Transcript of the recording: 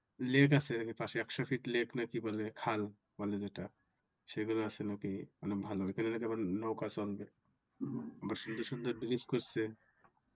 Lake আছে পাশে একশ ফিট Lake না কি বলে খাল বলে যেটা সেগুলো আছে নাকি অনেক ভালো ওইখানে আবার নৌকা চলবে আবার সুন্দর সুন্দর Bridge করছে